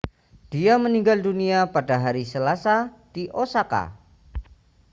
dia meninggal dunia pada hari selasa di osaka